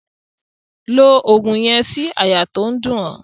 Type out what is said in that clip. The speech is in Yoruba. Lo ògùn yen sí àyà to n dún o